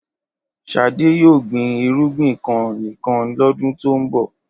Ṣadé yóò gbin ìrúgbìn kan nìkan lọ́dún tó ń bọ̀.